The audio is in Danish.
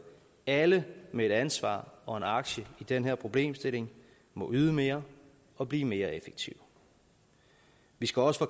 alle med et ansvar og en aktie i den her problemstilling må yde mere og blive mere effektiv vi skal også